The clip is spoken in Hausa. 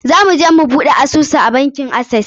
Za mu je mu buɗe asusu a bankin Access.